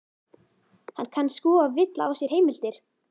Hann kann sko að villa á sér heimildir.